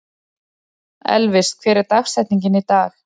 Elvis, hver er dagsetningin í dag?